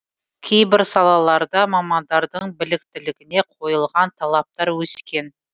кейбір салаларда мамандардың біліктілігіне қойылған талаптар өскен